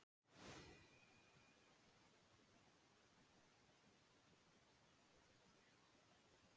Það hefur því áhrif á endanlega áætlun fólksfjöldans hver tíðni sjúkdómsins er talin vera.